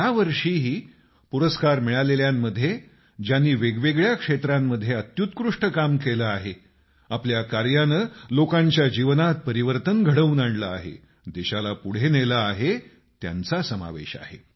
या वर्षीही पुरस्कार मिळालेल्यांमध्ये ज्यांनी वेगवेगळ्या क्षेत्रांमध्ये अत्युत्कृष्ट काम केलं आहे आपल्या काऱ्या नं लोकांच्या जीवनात परिवर्तन घडवून आणलं आहे देशाला पुढे नेलं आहे त्यांचा समावेश आहे